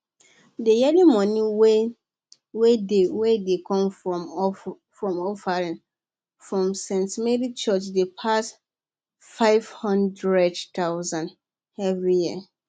dey yearly money wey dey wey dey come from offering for st marys church dey pass 500000 every year